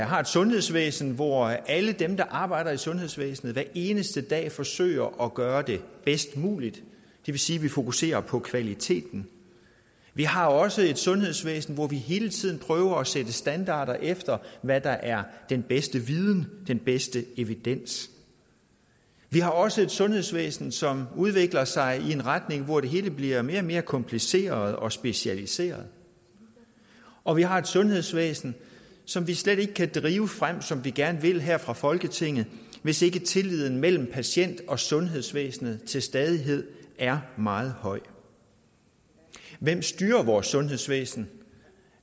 har et sundhedsvæsen hvor alle dem der arbejder i sundhedsvæsenet hver eneste dag forsøger at gøre det bedst muligt det vil sige vi fokuserer på kvaliteten vi har også et sundhedsvæsen hvor vi hele tiden prøver at sætte standarder efter hvad der er den bedste viden den bedste evidens vi har også et sundhedsvæsen som udvikler sig i en retning hvor det hele bliver mere og mere kompliceret og specialiseret og vi har et sundhedsvæsen som vi slet ikke kan drive frem som vi gerne vil her fra folketinget hvis ikke tilliden mellem patient og sundhedsvæsen til stadighed er meget høj hvem styrer vores sundhedsvæsen